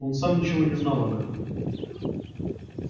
но сам он ничего не знал об этом